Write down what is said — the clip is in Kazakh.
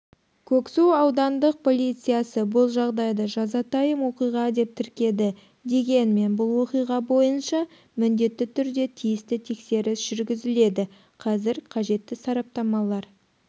көксу аудандық полициясы бұл жағдайды жазатайым оқиға деп тіркеді дегенмен бұл оқиға бойынша міндетті түрде тиісті тексеріс жүргізіледі қазір қажетті сараптамалар